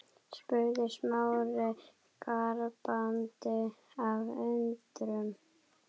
spurði Smári gapandi af undrun.